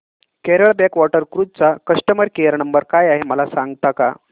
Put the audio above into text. Kerala backwater cruise चा customer care number काय आहे मला सांगता का